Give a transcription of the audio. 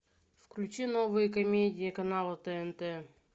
включи новые комедии канала тнт